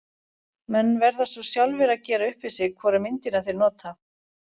Menn verða svo sjálfir að gera upp við sig hvora myndina þeir nota.